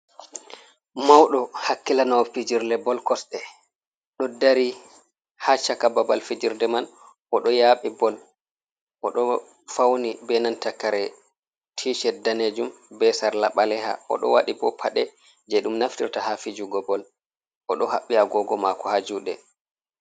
Maudo hakkilano fijerle bol kosɗe, ɗo dari ha shaka babal fijerde man oɗo yabi bol oɗo fauni be nanta kare tii shed danejum be sarla ɓaleha, oɗo waɗi bo paɗe je ɗum naftirta ha fijugo bol, oɗo haɓɓi agogo mako ha juɗe.